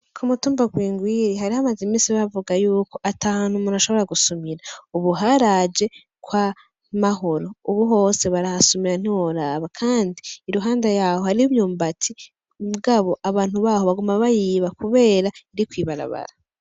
Ku mutumba gwingwiri harihamaze imisi bavuga yuko ata hantu umuntu ashobora gusumira, ubu haraje ko a mahoro, ubu hose barahasumira ntiworaba, kandi i ruhanda yaho hari myumbati bwabo abantu baho baguma bayiba, kubera iri kwibarabara.